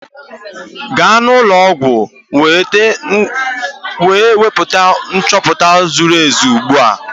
Gaa n'ụlọ ọgwụ wee nweta nchoputa ziri ezi ugbu a!